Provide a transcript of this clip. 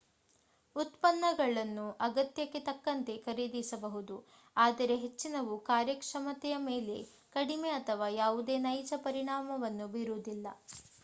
ಉತ್ಪನ್ನಗಳನ್ನು ಅಗತ್ಯಕ್ಕೆ ತಕ್ಕಂತೆ ಖರೀದಿಸಬಹುದು ಆದರೆ ಹೆಚ್ಚಿನವು ಕಾರ್ಯಕ್ಷಮತೆಯ ಮೇಲೆ ಕಡಿಮೆ ಅಥವಾ ಯಾವುದೇ ನೈಜ ಪರಿಣಾಮವನ್ನು ಬೀರುವುದಿಲ್ಲ